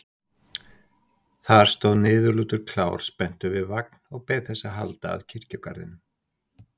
Þar stóð niðurlútur klár spenntur við vagn og beið þess að halda að kirkjugarðinum.